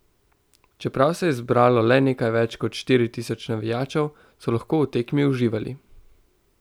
Čeprav se je zbralo le nekaj več kot štiri tisoč navijačev, so lahko v tekmi uživali.